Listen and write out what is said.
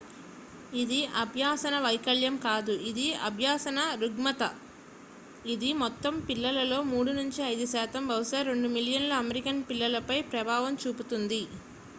"ఇది అభ్యసన వైకల్యం కాదు ఇది అభ్యసన రుగ్మత; ఇది "మొత్తం పిల్లలలో 3 నుండి 5 శాతం బహుశా 2 మిలియన్ల అమెరికన్ పిల్లలపై ప్రభావం చూపుతుంది"".